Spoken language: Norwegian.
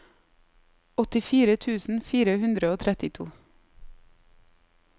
åttifire tusen fire hundre og trettito